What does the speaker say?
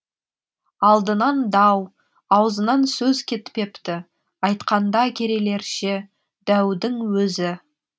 алдынан дау аузынан сөз кетпепті айтқанда керейлерше дәудің өзі